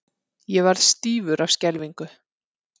Ég varð stífur af skelfingu.